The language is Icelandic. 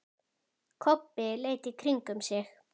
Kobbi leit í kringum sig.